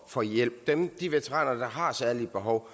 for hjælp de veteraner der har særlige behov